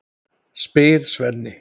spyr Svenni.